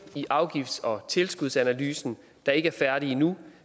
i afgifts og tilskudsanalysen der ikke er færdig endnu